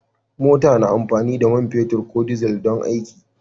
Mota na amfani da man fetur ko dizal don aiki.